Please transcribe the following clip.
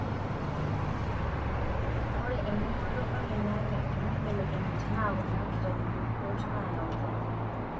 Ore eningoto oloingange toonkibelekenyat naa kuna kitanyaanyuk naayautua.